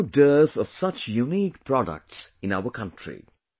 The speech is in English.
There is no dearth of such unique products in our country